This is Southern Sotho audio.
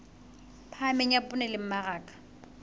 phahameng ya poone le mmaraka